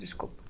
Desculpa.